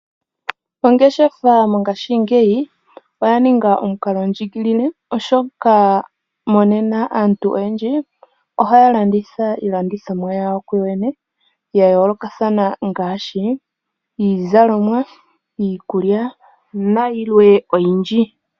Ongeshefa ngashingeyi oya ninga omukalo ndjigilile oshoka monena aantu oyendji ohaya landitha iilandithomwa yawo ku yoyene ya yoolokathana ngaashi iizalomwa, iikulya nayilwe oyindji.